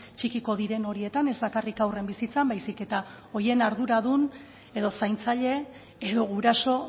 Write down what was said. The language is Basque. txikiko diren horietan ez bakarrik haurren bizitzan baizik eta horien arduradun edo zaintzaile edo guraso